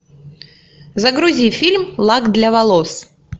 загрузи фильм лак для волос